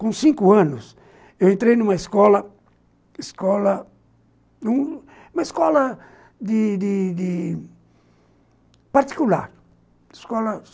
Com cinco anos, eu entrei em uma escola, escola, num numa escola de de de, particular, escola